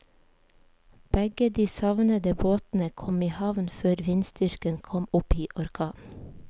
Begge de savnede båtene kom i havn før vindstyrken kom opp i orkan.